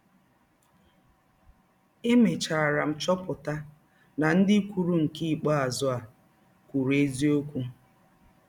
Emechara m chọpụta na ndị kwụrụ nke ikpeazụ a kwụrụ eziọkwụ.